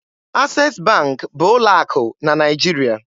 Access Bank bụ ụlọ akụ na Naịjirịa.